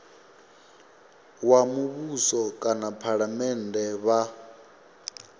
wa muvhuso kana phalamennde vha